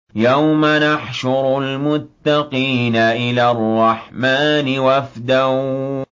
يَوْمَ نَحْشُرُ الْمُتَّقِينَ إِلَى الرَّحْمَٰنِ وَفْدًا